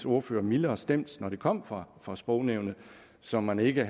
ordfører mildere stemt når det kom fra fra sprognævnet så man ikke